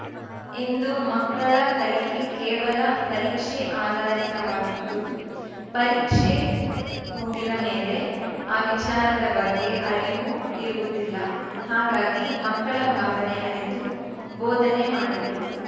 ಇಂದು ಮಕ್ಕಳ ಕಲಿಕೆ ಕೇವಲ ಪರೀಕ್ಷೆ ಆಧಾರಿತವಾಗಿದ್ದು ಪರೀಕ್ಷೆ ಮುಗಿದ ಮೇಲೆ ಆ ವಿಚಾರದ ಬಗ್ಗೆ ಅರಿವು ಇರುವುದಿಲ್ಲ ಹಾಗಾಗಿ ಮಕ್ಕಳ ಭಾವನೆ ಅರಿತು ಬೋಧನೆ ಮಾಡಬೇಕು